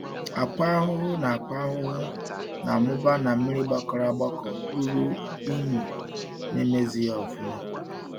Akwa ahụhụ na Akwa ahụhụ na amụba na mmiri gbakọrọ agbakọ ruru ịnyu na emezighi ọfụma